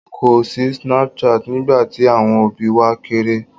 Kò sí Snapchat nígbà tí àwọn òbí wa kéré.